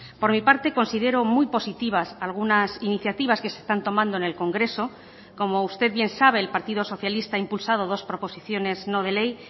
por mi parte considero muy positivas algunas iniciativas que se están tomando en el congreso como usted bien sabe el partido socialista ha impulsado dos proposiciones no de ley